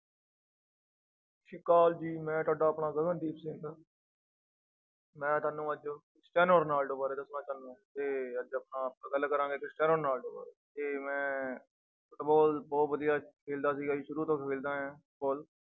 ਅਕਾਲ ਜੀ ਮੈਂ ਤੁਹਾਡਾ ਆਪਣਾ ਗਗਨਦੀਪ ਸਿੰਘ ਮੈਂ ਤੁਹਾਨੂੰ ਅੱਜ ਸਟੈਨੋ ਰੋਨਾਲਡੋ ਬਾਰੇ ਦੱਸਣਾ ਚਾਹੁਨਾ ਤੇ ਅੱਜ ਆਪਾ ਗੱਲ ਕਰਾਂਗੇ ਸਟੈਨੋ ਰੋਨਾਲਡੋ ਬਾਰੇ ਤੇ ਮੈਂ ਫੁਟਬਾਲ ਬਹੁਤ ਵਧੀਆ ਖੇਲਦਾ ਸੀਗਾ ਜੀ ਸ਼ੁਰੂ ਤੋਂ ਖੇਲਦਾ ਆਇਆਂ